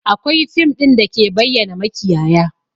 Akwai fim ɗin da ke bayyana makiyaya